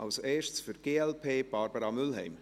Als Erstes für die glp Barbara Mühlheim.